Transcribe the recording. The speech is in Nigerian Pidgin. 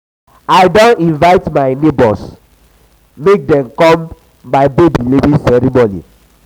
i don invite my nebors dem make dem come my um baby naming ceremony.